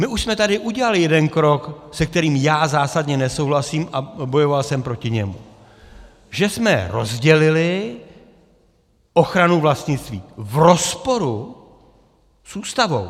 My už jsme tady udělali jeden krok, se kterým já zásadně nesouhlasím, a bojoval jsem proti němu, že jsme rozdělili ochranu vlastnictví v rozporu s Ústavou.